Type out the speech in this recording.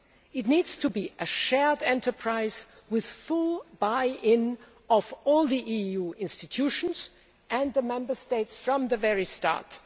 It needs to be a shared enterprise with full buy in of all the EU institutions and the Member States from the very start.